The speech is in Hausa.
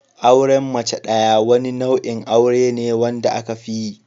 Auren mace ɗaya wani nau'in aure ne wanda aka fiyi